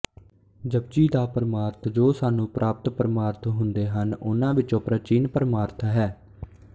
ਜਪੁ ਜੀ ਦਾ ਪਰਮਾਰਥ ਜੋ ਸਾਨੂੰ ਪ੍ਰਾਪਤ ਪਰਮਾਰਥ ਹੁੰਦੇ ਹਨ ਉਹਨਾਂ ਵਿੱਚੋਂ ਪ੍ਰਾਚੀਨ ਪਰਮਾਰਥ ਹੈ